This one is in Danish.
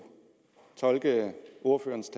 tolke ordførerens